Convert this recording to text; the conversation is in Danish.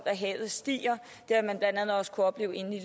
havet stiger det har man blandt andet også kunne opleve inde i